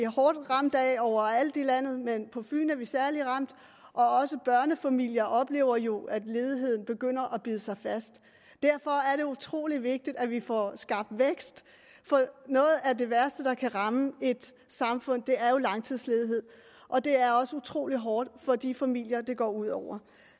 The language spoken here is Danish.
hårdt ramt af overalt i landet men på fyn er vi særlig ramt og også børnefamilier oplever jo at ledigheden begynder at bide sig fast derfor er det utrolig vigtigt at vi får skabt vækst for noget af det værste der kan ramme et samfund er jo langtidsledighed og det er også utrolig hårdt for de familier det går ud over